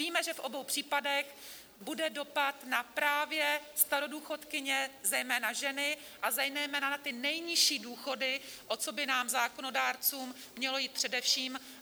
Víme, že v obou případech bude dopad na právě starodůchodkyně, zejména ženy, a zejména na ty nejnižší důchody, o co by nám, zákonodárcům, mělo jít především.